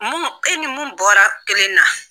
Munnun e ni mun bɔra kelen na.